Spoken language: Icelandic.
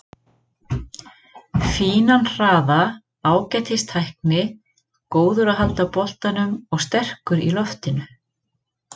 Fínan hraða, ágætis tækni, góður að halda boltanum og sterkur í loftinu.